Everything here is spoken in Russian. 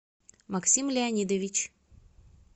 максим леонидович